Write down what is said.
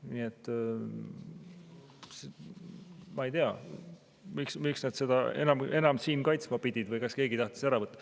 Nii et ma ei tea, miks nad seda siin veel kaitsma pidid või kas keegi tahtis ära võtta.